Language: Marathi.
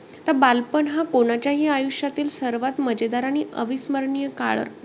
आता बालपण हा कोण्याच्याही आयुष्यातील सर्वात मजेदार आणि अविस्मरणीय काळ.